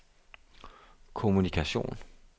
kommunikation